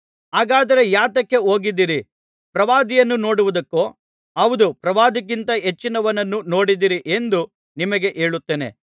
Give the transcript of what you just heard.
ಹಾಗಾದರೆ ಯಾತಕ್ಕೆ ಹೋಗಿದ್ದಿರಿ ಪ್ರವಾದಿಯನ್ನು ನೋಡುವುದಕ್ಕೋ ಹೌದು ಪ್ರವಾದಿಗಿಂತಲೂ ಹೆಚ್ಚಿನವನನ್ನು ನೋಡಿದ್ದೀರಿ ಎಂದು ನಿಮಗೆ ಹೇಳುತ್ತೇನೆ